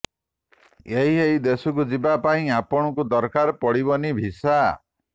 ଏହି ଏହି ଦେଶକୁ ଯିବା ପାଇଁ ଆପଣଙ୍କୁ ଦରକାର ପଡ଼ିବନି ଭିସା